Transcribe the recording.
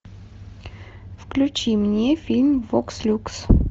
включи мне фильм вокс люкс